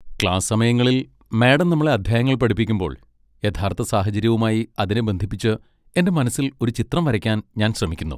Class സമയങ്ങളിൽ madam നമ്മളെ അധ്യായങ്ങൾ പഠിപ്പിക്കുമ്പോൾ, യഥാർത്ഥ സാഹചര്യവുമായി അതിനെ ബന്ധിപ്പിച്ച് എന്റെ മനസ്സിൽ ഒരു ചിത്രം വരയ്ക്കാൻ ഞാൻ ശ്രമിക്കുന്നു.